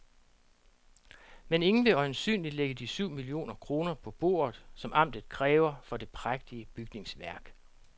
Men ingen vil øjensynligt lægge de syv millioner kroner på bordet, som amtet kræver for det prægtige bygningsværk.